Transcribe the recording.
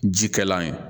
Ji kɛla ye